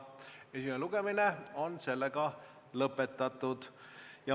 Esimene lugemine on lõppenud.